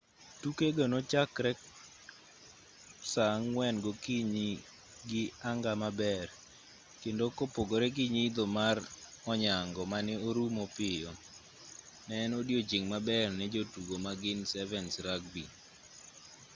tukego nochakore saa ang'wen gokinyi gi anga maber kendo kopogre gi nyidho mar onyango mane orumo piyo ne en odiochieng' maber ne jotugo magin 7's rugby